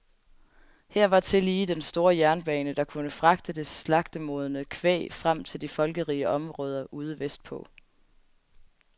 Her var tillige den store jernbane, der kunne fragte det slagtemodne kvæg frem til de folkerige områder ude vestpå.